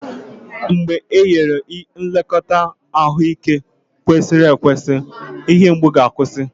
mgbe e nyere nlekọta ahụike kwesịrị ekwesị, ihe mgbu ga-akwụsị.